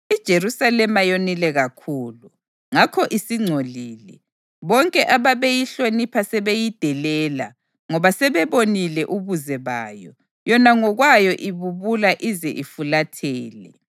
IJerusalema yonile kakhulu, ngakho isingcolile. Bonke ababeyihlonipha sebeyidelela, ngoba sebebonile ubuze bayo; yona ngokwayo ibubula ize ifulathele.